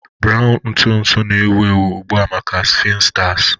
Brown ntụ ntụ na-ewu ewu ugbu a maka sphinsters